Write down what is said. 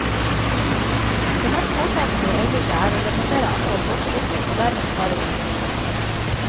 Det mest påtrengende i øyeblikket er å redusere antall båtulykker og dermed spare liv.